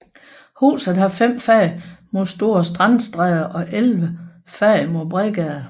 Huset har fem fag mod Store Strandstræde og elleve fag mod Bredgade